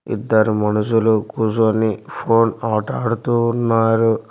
ఇద్దరు మనుషులు కూసోని ఫోన్ ఆటాడుతూ ఉన్నారు.